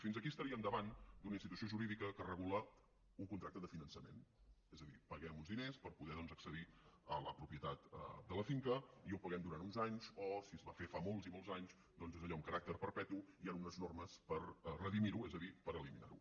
fins aquí estaríem davant d’una institució jurídica que regula un contracte de finançament és a dir paguem uns diners per poder doncs accedir a la propietat de la finca i ho paguem durant uns anys o si es va fer fa molts i molts anys doncs és allò amb caràcter perpetu i hi han unes normes per redimir ho és a dir per eliminar ho